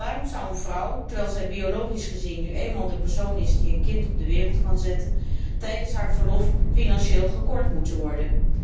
Waarom zou een vrouw, terwijl zij biologisch gezien nu eenmaal de persoon is die een kind op de wereld kan zetten, tijdens haar verlof financieel gekort moeten worden?